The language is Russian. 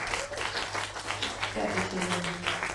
пятый сезон